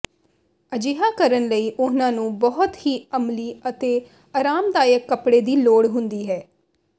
ਅਜਿਹਾ ਕਰਨ ਲਈ ਉਹਨਾਂ ਨੂੰ ਬਹੁਤ ਹੀ ਅਮਲੀ ਅਤੇ ਆਰਾਮਦਾਇਕ ਕੱਪੜੇ ਦੀ ਲੋੜ ਹੁੰਦੀ ਹੈ